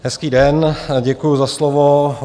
Hezký den, děkuji za slovo.